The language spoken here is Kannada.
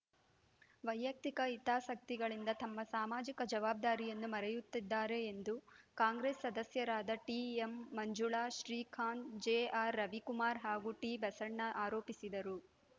ವೈಯಕ್ತಿಕ ಹಿತಾಸಕ್ತಿಗಳಿಂದ ತಮ್ಮ ಸಾಮಾಜಿಕ ಜವಾಬ್ದಾರಿಯನ್ನು ಮರೆಯುತ್ತಿದ್ದಾರೆ ಎಂದು ಕಾಂಗ್ರೆಸ್‌ ಸದಸ್ಯರಾದ ಟಿಮಂಜುಳಾ ಶ್ರೀಕಾಂತ್‌ ಜೆಆರ್‌ರವಿಕುಮಾರ್‌ ಹಾಗೂ ಟಿಬಸಣ್ಣ ಆರೋಪಿಸಿದರು